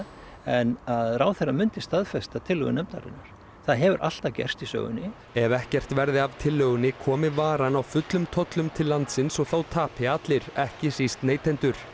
en að ráðherra myndi staðfesta tillögu nefndarinnar það hefur alltaf gerst í sögunni ef ekkert verði af tillögunni komi varan á fullum tollum til landsins og þá tapi allir ekki síst neytendur